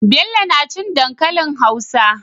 Bello nacin dankalin hausa